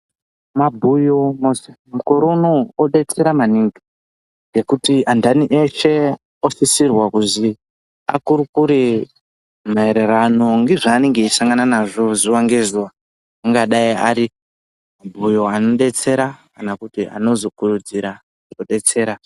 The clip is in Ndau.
Mabhuyo mukore unowu odetsera maningi ngekuti anhani eshe osisirwe kuzi akurukure maererano nezvaanenge eisangana nazvo zuwa ngezuwa ingadayi ari mabhuyo anodetsera kana kuti eizokurudzira kudetsera.